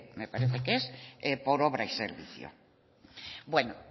por obra y servicio bueno